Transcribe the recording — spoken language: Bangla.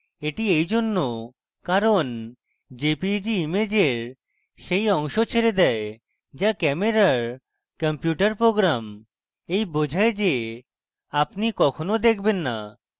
এটি এইজন্য কারণ jpeg ইমেজের সেই অংশ ছেড়ে দেয় যা camera কম্পিউটার program এই বোঝায় যে আপনি কখনো দেখবেন না